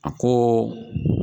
A ko